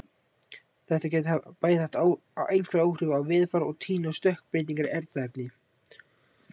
Þetta gæti bæði haft einhver áhrif á veðurfar og á tíðni stökkbreytinga í erfðaefni.